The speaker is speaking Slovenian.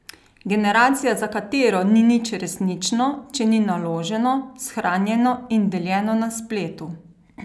Generacija, za katero ni nič resnično, če ni naloženo, shranjeno in deljeno na spletu?